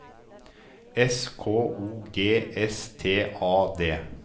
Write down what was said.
S K O G S T A D